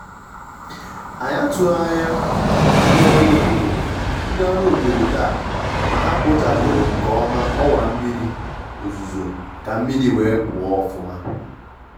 ànyị́ àtụghí ányá ndí ọ́rụ́ òbódó ndí ọ́rụ́ òbódó táá má há kpóchápụ́rụ́ nké ọ́má ọ́wá mmírí òzúzó ká mmírí wéé pụ́ọ́ ọ́fụ́má.